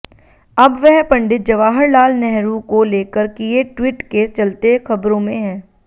अब वह पंडित जवाहर लाल नेहरू को लेकर किए ट्वीट के चलते खबरों में हैं